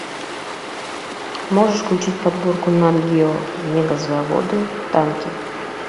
можешь включить подборку нат гео мегазаводы танки